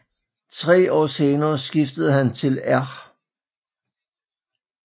Tre år senere skiftede han til R